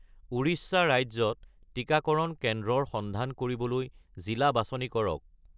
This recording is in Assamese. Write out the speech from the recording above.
উৰিষ্যা ৰাজ্যত টিকাকৰণ কেন্দ্ৰৰ সন্ধান কৰিবলৈ জিলা বাছনি কৰক